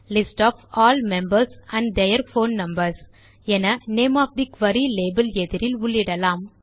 list of all members and their phone numbers என name of the query label எதிரில் உள்ளிடலாம்